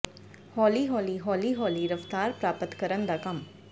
ਹੌਲੀ ਹੌਲੀ ਹੌਲੀ ਹੌਲੀ ਰਫ਼ਤਾਰ ਪ੍ਰਾਪਤ ਕਰਨ ਦਾ ਕੰਮ